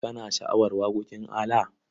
Kana sha'awar waƙoƙin ALA?